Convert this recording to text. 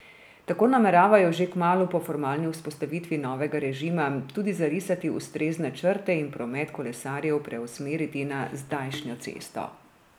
Tako nameravajo že kmalu po formalni vzpostavitvi novega režima tudi zarisati ustrezne črte in promet kolesarjev preusmeriti na zdajšnjo cesto.